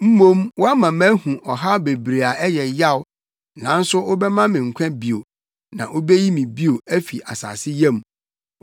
Mmom woama mahu ɔhaw bebree a ɛyɛ yaw; nanso wobɛma me nkwa bio; na wubeyi me bio, afi asase yam.